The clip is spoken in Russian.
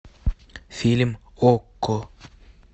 фильм окко